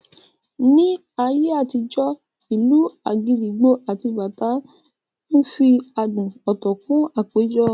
Ní ayé àtijó, ìlù agidigbo àti bàtá ń fi adùn ọ̀tọ̀ kún àpéjọ